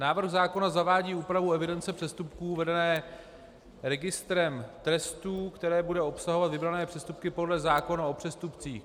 Návrh zákona zavádí úpravu evidence přestupků vedené registrem trestů, která bude obsahovat vybrané přestupky podle zákona o přestupcích.